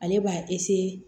Ale b'a